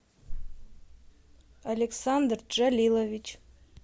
александр джалилович